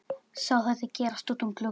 Vei, snjór hrópaði hann.